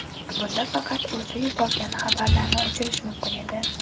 Bunda faqat o‘zi yuborgan xabarlarni o‘chirish mumkin edi.